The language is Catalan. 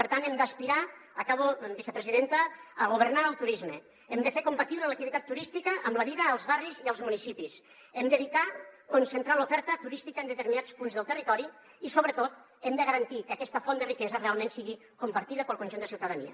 per tant hem d’aspirar acabo vicepresidenta a governar el turisme hem de fer compatible l’activitat turística amb la vida als barris i als municipis hem d’evitar concentrar l’oferta turística en determinats punts del territori i sobretot hem de garantir que aquesta font de riquesa realment sigui compartida pel conjunt de la ciutadania